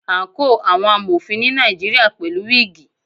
Àǹkóò àwọn Amọ̀fin ni Nàìjíríà pẹ̀lú wígìì.